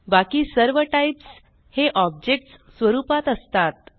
बाकी सर्व टाईप्स हे ऑब्जेक्ट्स स्वरूपात असतात